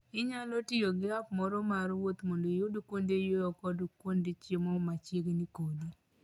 Inyalo tiyo gi app moro mar wuoth mondo iyud kuonde yueyo kod kuonde chiemo machiegni kodi.